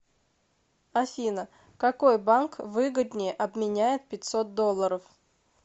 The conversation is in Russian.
афина какой банк выгоднее обменяет пятьсот долларов